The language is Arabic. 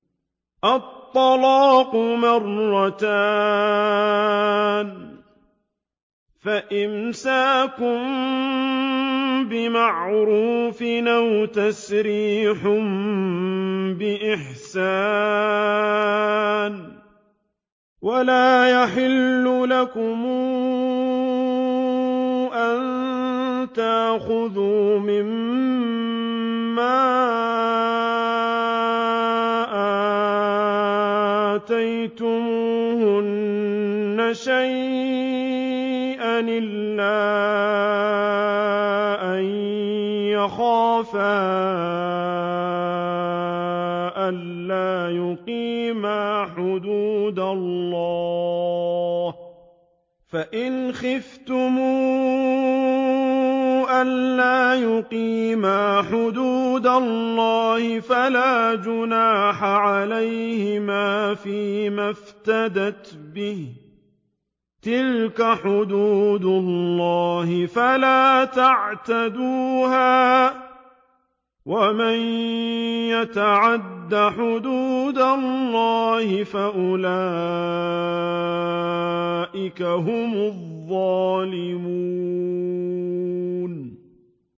الطَّلَاقُ مَرَّتَانِ ۖ فَإِمْسَاكٌ بِمَعْرُوفٍ أَوْ تَسْرِيحٌ بِإِحْسَانٍ ۗ وَلَا يَحِلُّ لَكُمْ أَن تَأْخُذُوا مِمَّا آتَيْتُمُوهُنَّ شَيْئًا إِلَّا أَن يَخَافَا أَلَّا يُقِيمَا حُدُودَ اللَّهِ ۖ فَإِنْ خِفْتُمْ أَلَّا يُقِيمَا حُدُودَ اللَّهِ فَلَا جُنَاحَ عَلَيْهِمَا فِيمَا افْتَدَتْ بِهِ ۗ تِلْكَ حُدُودُ اللَّهِ فَلَا تَعْتَدُوهَا ۚ وَمَن يَتَعَدَّ حُدُودَ اللَّهِ فَأُولَٰئِكَ هُمُ الظَّالِمُونَ